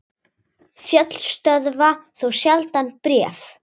Fjöll stöðva þó sjaldan bréf.